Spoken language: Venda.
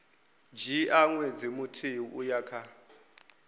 dzhia ṅwedzi muthihi uya kha